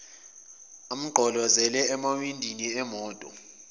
amgqolozele emawindini emoto